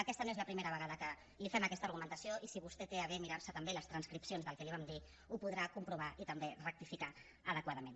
aquesta no és la primera vegada que li fem aquesta argumentació i si vostè té a bé mirar se també les transcripcions del que li vam dir ho podrà comprovar i també rectificar adequadament